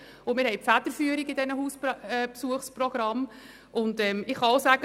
Wir übernehmen die Federführung in diesen Hausbesuchsprogrammen.